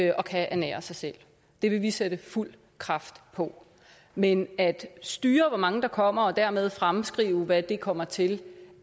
og kan ernære sig selv det vil vi sætte fuld kraft på men at styre hvor mange der kommer og dermed fremskrive hvad det kommer til